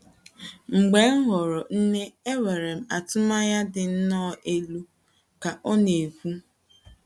“ Mgbe m ghọrọ nne enwere m atụmanya dị nnọọ elu, ” ka ọ na - ekwu.